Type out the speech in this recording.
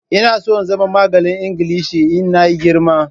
Ina so in zama malamin Ingilishi Ina yi girma.